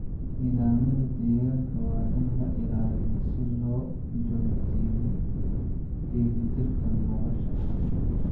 Nidaamyada deegaanka waa in la ilaaliyo si loo joogteeyo dheelitirka nolosha.